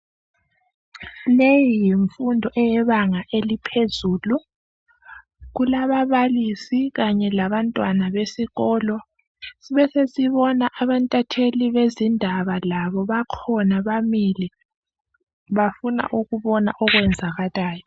Leyi yimfundo eyebanga eliphezulu Kulababalisi kanye labantwana besikolo .Sibesesibona abentatheli bezindaba labo bakhona bamile bafuna ukubona okwenzakalayo